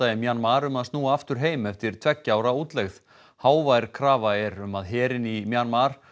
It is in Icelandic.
í Mjanmar um að snúa aftur heim eftir tveggja ára útlegð hávær krafa er um að herinn í Mjanmar